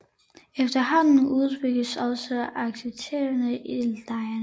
Efterhånden udbyggedes også aktiviteterne i lejrene